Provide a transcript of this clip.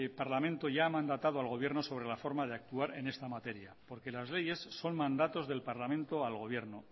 parlamento ya ha mandatado al gobierno sobre la forma de actuar en esta materia porque las leyes son mandatos del parlamento al gobierno